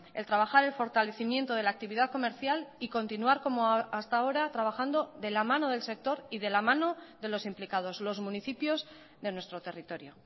el trabajar el fortalecimiento de la actividad comercial y continuar como hasta ahora trabajando de la mano del sector y de la mano de los implicados los municipios de nuestro territorio